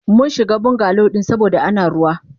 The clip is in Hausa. Munshiga bungalow din saboda Ana ruwa.